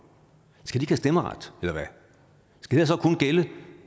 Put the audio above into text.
skal de have stemmeret eller